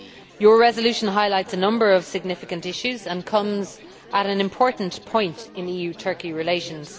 Your resolution highlights a number of significant issues and comes at an important point in EU Turkey relations.